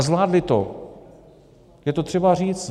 A zvládly to, je to třeba říct.